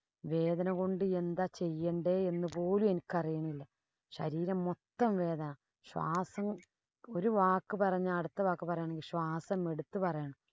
വേദന കൊണ്ട് എന്താ ചെയ്യണ്ടേ എന്ന് പോലും എനിക്കറിയണില്ല. ശരീരം മൊത്തം വേദന. ശ്വാസം ഒരു വാക്ക് പറഞ്ഞാ അടുത്ത വാക്ക് പറയണേ ശ്വസം എടുത്ത് പറയണം.